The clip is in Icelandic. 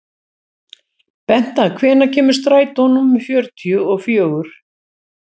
Benta, hvenær kemur strætó númer fjörutíu og fjögur?